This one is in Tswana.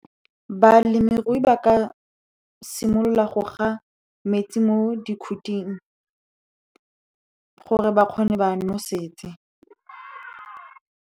Balemirui ba ka simolola go ga metsi mo dikhuting gore ba kgone ba nosetse.